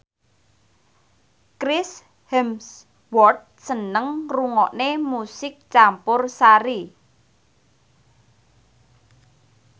Chris Hemsworth seneng ngrungokne musik campursari